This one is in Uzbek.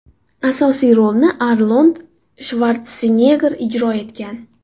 Asosiy rolni Arnold Shvartsenegger ijro etgan.